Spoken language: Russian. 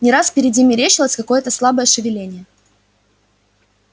не раз впереди мерещилось какое-то слабое шевеление